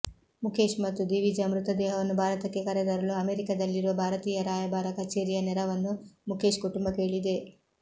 ಮುಖೇಶ್ ಮತ್ತು ದಿವಿಜಾ ಮೃತದೇಹವನ್ನು ಭಾರತಕ್ಕೆ ಕರೆತರಲು ಅಮೆರಿಕಾದಲ್ಲಿರುವ ಭಾರತೀಯ ರಾಯಭಾರ ಕಚೇರಿಯ ನೆರವನ್ನು ಮುಖೇಶ್ ಕುಟುಂಬ ಕೇಳಿದೆ